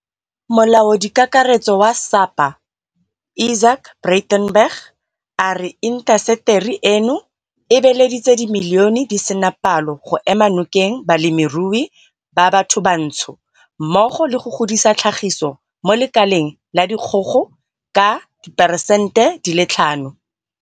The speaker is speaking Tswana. Molaodikakaretso wa SAPA Izaak Breitenbach a re intaseteri eno e beeleditse dimilione di sena palo go ema nokeng balemirui ba bathobatsho mmogo le go godisa tlhagiso mo lekaleng la dikgogo ka diperesente di le tlhano.